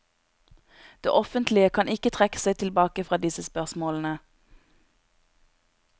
Det offentlige kan ikke trekke seg tilbake fra disse spørsmålene.